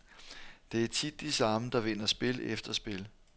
Det er tit de samme, der vinder spil efter spil.